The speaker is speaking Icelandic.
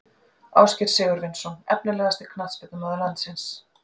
Ásgeir Sigurvinsson Efnilegasti knattspyrnumaður landsins?